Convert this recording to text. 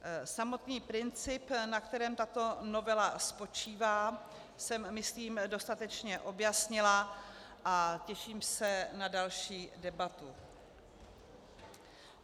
Samotný princip, na kterém tato novela spočívá, jsem myslím dostatečně objasnila, a těším se na další debatu.